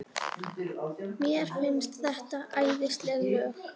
Mér finnst þetta æðisleg lög.